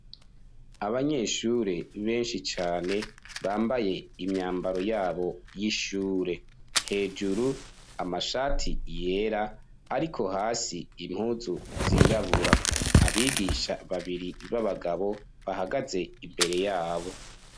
Abanyeshure benshi cane bambaye imyambaro yabo y'ishure hejuru amashati yera ariko hasi impuzu zirabura abigisha babiri b'abagabo bahagaze imbere yabo.